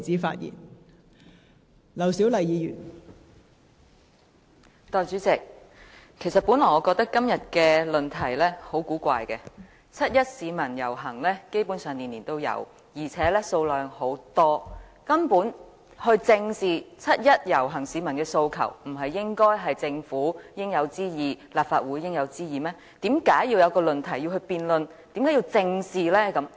代理主席，我本來認為今天的議題很古怪，基本上市民每年均參與七一遊行，而且人數眾多，正視七一遊行市民的訴求，本就是政府和立法會應有之義，為甚麼要提出來辯論，而要加以正視？